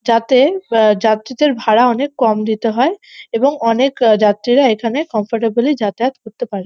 যাতে আহ যাত্রীদের ভাড়া অনেক কম দিতে হয় এবং অনেক যাত্রীরা এখানে কমফোর্টেবলই যাতায়াত করতে পারে।